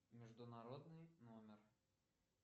международный номер